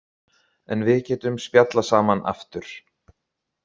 En við getum spjallað saman aftur.